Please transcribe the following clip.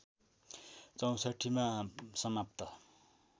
६४ मा समाप्त